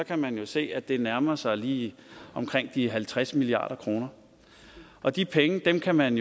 kan man jo se at det nærmer sig lige omkring de halvtreds milliard kr og de penge kan man